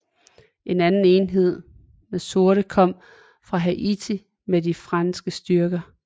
En anden enhed med sorte kom fra Haiti med de franske styrker